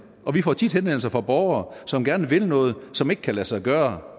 og vi får tit henvendelser fra borgere som gerne vil noget som ikke kan lade sig gøre